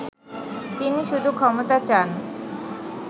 তিনি শুধু ক্ষমতা চান